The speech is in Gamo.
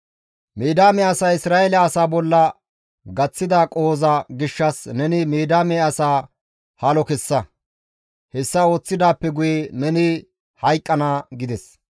«Midiyaame asay Isra7eele asaa bolla gaththida qohoza gishshas neni Midiyaame asaa halo kessa; hessa ooththidaappe guye neni hayqqana» gides.